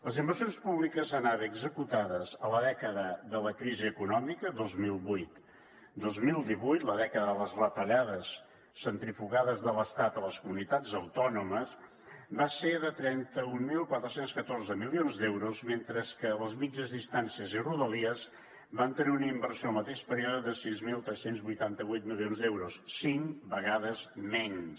les inversions públiques en ave executades a la dècada de la crisi econòmica dos mil vuit dos mil divuit la dècada de les retallades centrifugades de l’estat a les comunitats autònomes van ser de trenta mil quatre cents i catorze milions d’euros mentre que les mitjanes distàncies i rodalies van tenir una inversió en el mateix període de sis mil tres cents i vuitanta vuit milions d’euros cinc vegades menys